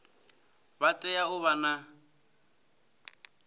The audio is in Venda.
vha tea u vha na